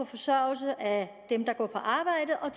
forsørget af dem der går på arbejde og